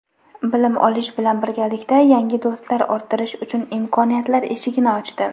bilim olish bilan birgalikda yangi do‘stlar orttirish uchun imkoniyatlar eshigini ochdi.